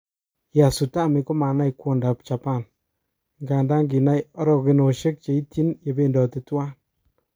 Tyasutami komanai kwondap japan, ingadan kinai orokenoshek cheityin yebendote tuwan.